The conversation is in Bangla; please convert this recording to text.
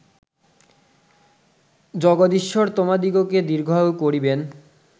জগদীশ্বর তোমাদিগকে দীর্ঘায়ু করিবেন